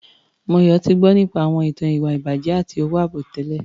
Moyọ̀ ti gbọ́ àwọn ìtàn nípa ìwà-ìbàjẹ́ àti owó-àbẹ̀tẹ́lẹ̀.